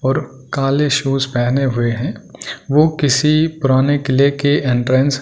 और काले शूज पहने हुए है वो किसी पुराने किले के एंट्रेंस --